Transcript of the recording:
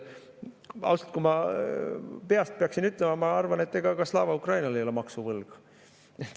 Ausalt, kui ma peast peaksin ütlema, siis ma arvan, et ega ka Slava Ukrainil ei ole maksuvõlga.